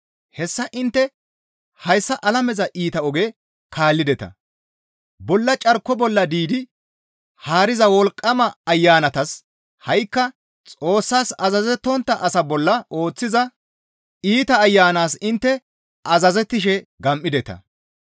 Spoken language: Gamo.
hessa intte hayssa alameza iita oge kaallideta; bolla carko bolla diidi haariza wolqqama ayanatas ha7ikka Xoossas azazettontta asaa bolla ooththiza iita ayanas intte azazettishe gam7ideta.